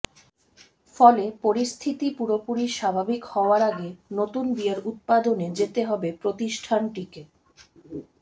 ফলে পরিস্থিতি পুরোপুরি স্বাভাবিক হওয়ার আগে নতুন বিয়ার উৎপাদনে যেতে হবে প্রতিষ্ঠানটিকে